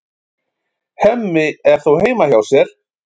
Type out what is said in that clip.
Hemmi er þó heima hjá sér.